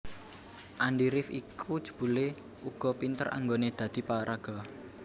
Andi rif iku jebulé uga pinter anggoné dadi paraga